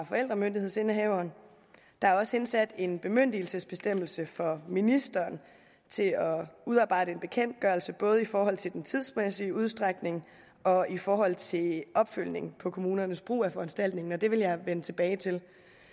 forældremyndighedsindehaveren der er også indsat en bemyndigelsesbestemmelse for ministeren til at udarbejde en bekendtgørelse både i forhold til den tidsmæssige udstrækning og i forhold til opfølgningen på kommunernes brug af foranstaltningen og det vil jeg vende tilbage til